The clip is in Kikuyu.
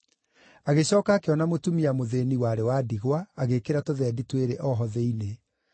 Agĩcooka akĩona mũtumia mũthĩĩni, warĩ wa ndigwa, agĩĩkĩra tũthendi twĩrĩ o ho thĩinĩ.